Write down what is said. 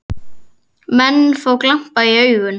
Menn fá glampa í augun.